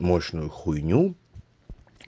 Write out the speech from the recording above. мощную хуйню